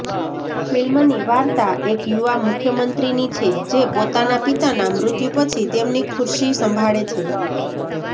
ફિલ્મની વાર્તા એક યુવા મુખ્યમંત્રીની છે જે પોતાના પિતાનાં મૃત્યુ પછી તેમની ખુરશી સંભાળે છે